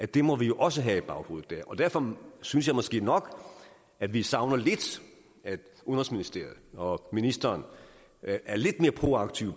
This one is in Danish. det må vi også have i baghovedet derfor synes jeg måske nok at vi savner lidt at udenrigsministeriet og ministeren er lidt mere proaktive